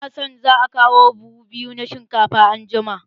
Ina sa ran za a kawo buhu biyu na shinkafa anjima.